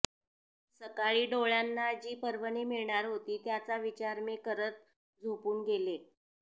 सकाळी डोळ्यांना जी पर्वणी मिळणार होती त्याचा विचार मी करत झोपून गेले